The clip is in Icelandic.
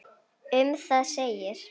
Um það segir: